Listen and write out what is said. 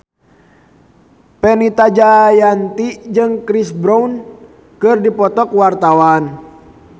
Fenita Jayanti jeung Chris Brown keur dipoto ku wartawan